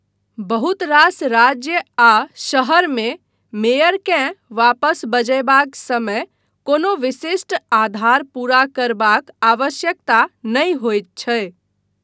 बहुत रास राज्य आ शहर मे मेयरकेँ वापस बजयबाक समय कोनो विशिष्ट आधार पूरा करबाक आवश्यकता नहि होइत छै।